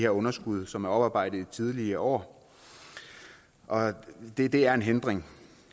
underskud som er oparbejdet i tidligere år og det det er en hindring